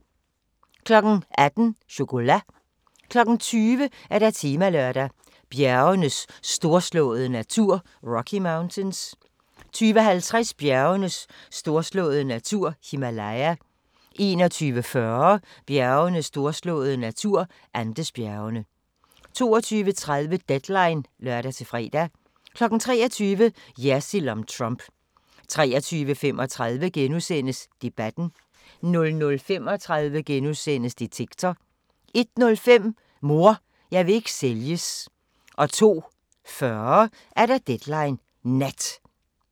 18:00: Chocolat 20:00: Temalørdag: Bjergenes storslåede natur – Rocky Mountains 20:50: Bjergenes storslåede natur – Himalaya 21:40: Bjergenes storslåede natur – Andesbjergene 22:30: Deadline (lør-fre) 23:00: Jersild om Trump 23:35: Debatten * 00:35: Detektor * 01:05: Mor, jeg vil ikke sælges 02:40: Deadline Nat